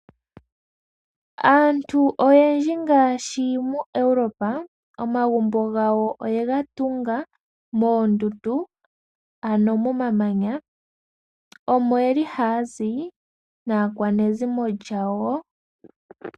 Aantu oyendji ngaashi muEuropa omagumbo gawo oyega tunga moondundu ano momamanya omo yeli ha yazi naakwanezimo yawo.